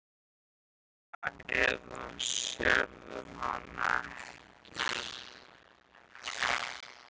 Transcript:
Sérðu hana eða sérðu hana ekki?